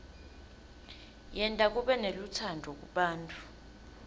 yenta kube nelutsandvo kubantfu